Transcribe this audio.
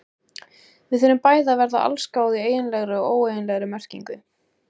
Við þurfum bæði að verða allsgáð í eiginlegri og óeiginlegri merkingu.